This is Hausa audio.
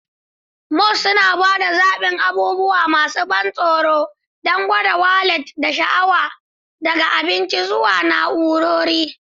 Malls suna ba da zaɓin abubuwa masu ban tsoro don gwada wallet da sha'awa, daga abinci zuwa na'urori.